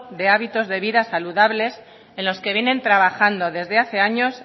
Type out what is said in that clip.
de hábitos de vida saludables en los que vienen trabajando desde hace años